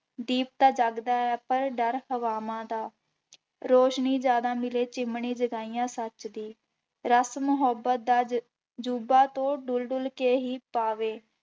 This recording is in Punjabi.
ਦੀਪ ਤਾਂ ਜਗਦਾ ਹੈ ਪਰ ਡਰ ਹਵਾਵਾਂ ਦਾ ਰੌਸ਼ਨੀ ਜ਼ਿਆਦਾ ਮਿਲੇ ਚਿਮਣੀ ਜਗਾਈਆਂ ਸੱਚ ਦੀ, ਰਸ ਮੁਹੱਬਤ ਦਾ ਜ ਜੁਬਾ ਤੋਂ ਡੁਲ ਡੁਲ ਕੇ ਹੀ ਪਾਵੇ,